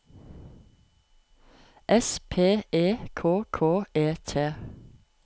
S P E K K E T